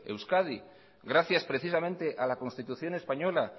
euskadi gracias precisamente a la constitución española